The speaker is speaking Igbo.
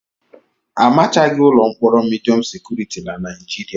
Amachaghị ụlọ mkpọrọ midiọm sekuriti na Naịjirịa.